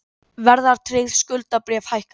Verðtryggð skuldabréf hækka